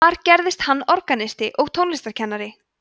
þar gerðist hann organisti og tónlistarkennari